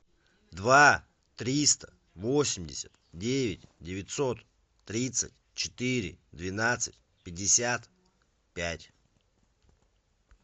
два триста восемьдесят девять девятьсот тридцать четыре двенадцать пятьдесят пять